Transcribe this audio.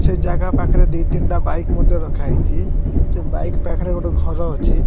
ସେ ଜାଗା ପାଖରେ ଦୁଇ ତିନିଟା ବାଇକ ମଧ୍ୟ ରଖା ଯାଇଛି ସେ ବାଇକ ପାଖରେ ଗୋଟେ ଘର ଅଛି।